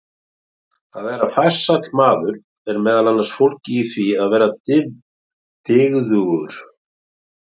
Að vera farsæll maður er meðal annars fólgið í því að vera dygðugur.